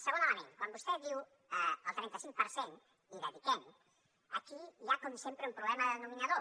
segon element quan vostè diu el trenta cinc per cent hi dediquem aquí hi ha com sempre un problema de denominador